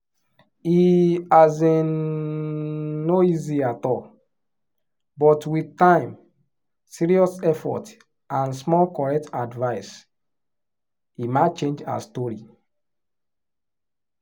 e um no easy at all but with time serious effort and small correct advice emma change her story.